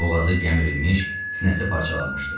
Boğazı gəmirlilmiş, sinəsi parçalanmışdı.